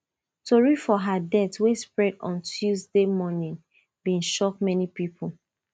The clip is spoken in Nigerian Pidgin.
tori of her death wey spread on tuesday morning bin shock many pipo